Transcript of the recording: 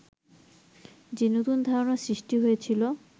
যে নতুন ধারণা সৃষ্টি হয়েছিল